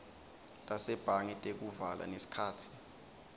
tasebhange tekuvala nesikhatsi